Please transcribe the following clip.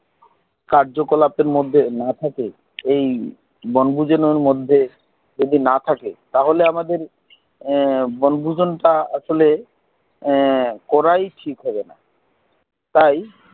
কার্যকলাপের মধ্যে না থাকে এই বনভোজনের মধ্যে যদি না থাকে তাহলে আমাদের এ বনভোজন তা আসলে করাই ঠিক হবে না তাই